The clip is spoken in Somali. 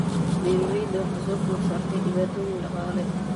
Beeralayda waxaa soo food saartay dhibaatooyin dhaqaale.